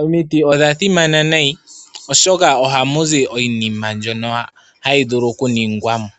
Omiti odha simana nayi oshoka ohamu zi iinima mbyono hayi vulu oku ningwa mo.